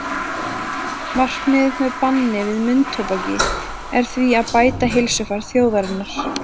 Markmiðið með banni við munntóbaki er því að bæta heilsufar þjóðarinnar.